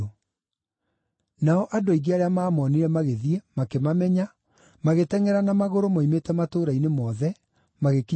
Nao andũ aingĩ arĩa maamonire magĩthiĩ, makĩmamenya, magĩtengʼera na magũrũ moimĩte matũũra-inĩ mothe, magĩkinya mbere yao.